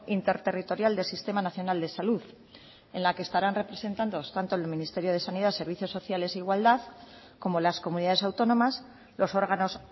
interterritorial del sistema nacional de salud en la que estarán representados tanto el ministerio de sanidad servicios sociales e igualdad como las comunidades autónomas los órganos